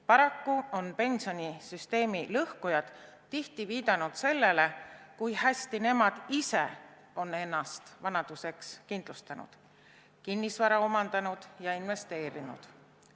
Paraku on pensionisüsteemi lõhkujad tihti viidanud sellele, kui hästi nemad ise on ennast vanaduseks kindlustanud, kinnisvara omandanud ja investeerinud.